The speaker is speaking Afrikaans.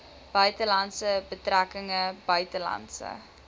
buitelandse betrekkinge buitelandse